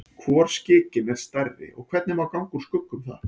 Hvor skikinn er stærri og hvernig má ganga úr skugga um það?